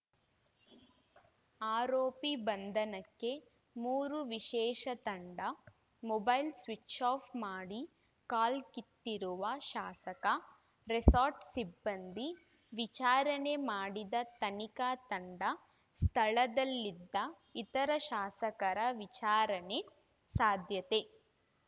ಆರೋಪಿ ಬಂಧನಕ್ಕೆ ಮೂರು ವಿಶೇಷ ತಂಡ ಮೊಬೈಲ್‌ ಸ್ವಿಚ್‌ಆಫ್‌ ಮಾಡಿ ಕಾಲ್ಕಿತ್ತಿರುವ ಶಾಸಕ ರೆಸಾರ್ಟ್‌ ಸಿಬ್ಬಂದಿ ವಿಚಾರಣೆ ಮಾಡಿದ ತನಿಖಾ ತಂಡ ಸ್ಥಳದಲ್ಲಿದ್ದ ಇತರ ಶಾಸಕರ ವಿಚಾರಣೆ ಸಾಧ್ಯತೆ